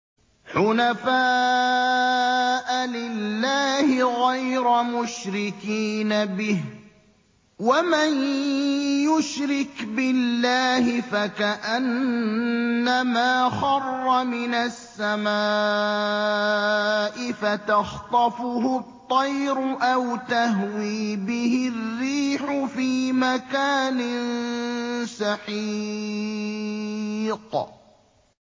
حُنَفَاءَ لِلَّهِ غَيْرَ مُشْرِكِينَ بِهِ ۚ وَمَن يُشْرِكْ بِاللَّهِ فَكَأَنَّمَا خَرَّ مِنَ السَّمَاءِ فَتَخْطَفُهُ الطَّيْرُ أَوْ تَهْوِي بِهِ الرِّيحُ فِي مَكَانٍ سَحِيقٍ